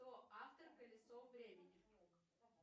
кто автор колесо времени